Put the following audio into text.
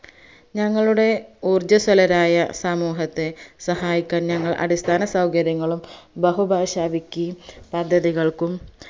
ഞങ്ങളുടെ ഊർജസ്വലരായ സമൂഹത്തെ സഹായിക്കാൻ ഞങ്ങൾ അടിസ്ഥാനസൗകര്യങ്ങളും ബഹുഭാഷാ wiki പദ്ധതികൾക്കും